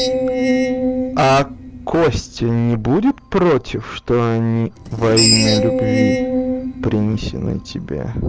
а костя не будет против что они во имя любви принесены тебе